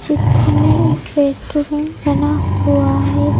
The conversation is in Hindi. चित्र में एक रेस्टोरेंट बना हुआ है।